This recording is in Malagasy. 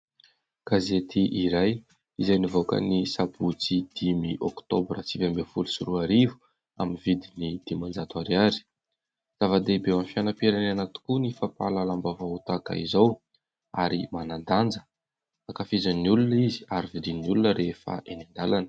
Gazety iray izay nivoaka ny : Sabotsy dimy oktobra sivy ambin'ny folo sy roa arivo, amin'ny vidiny dimanjato ariary. Zava- dehibe ao amin'ny fianam-pirenena tokoa ny fampahalalam-baovao tahaka izao, ary manan-danja. Ankafizin'ny olona izy, ary vidin'ny olona rehefa eny an-dalana.